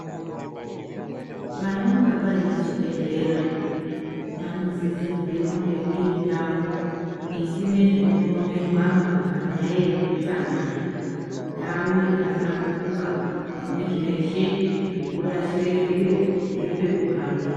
Panonga payinechibhedhlera, panosisirwe kunge irindau isinezvinopomerwaba panyaya yewutsanana. Ndawu yakahlamburuka, inezveshe zvekurashire zviro ngepekuhambira.